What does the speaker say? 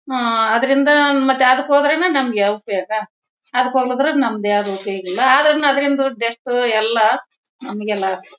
ಆ ಅದರಿಂದ ಮತ್ತೆ ಅದಕ್ಕೆ ಹೋದ್ರೇನೇ ನಮಗೆ ಉಪಯೋಗ. ಅದ್ಕ ಹೋಗಿದ್ರೆ ನಂದು ಯಾವುದು ಉಪಯೋಗ ಇಲ್ಲ ಆಡ್ಸರು ಅದರಿಂದ ದಷ್ಟು ನಮಗೆ ಲಾಸ್ .